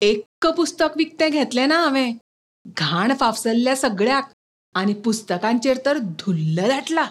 एक्क पुस्तक विकतें घेतलें ना हावें. घाण फाफसल्या सगळ्याक आनी पुस्तकांचेर तर धुल्ल दाटला.